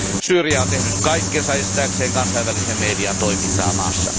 Syyria on tehnyt kaikkensa estääkseen kansainvälisen median toiminnan maassa.